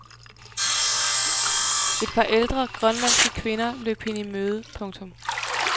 Et par ældre grønlandske kvinder løb hende i møde. punktum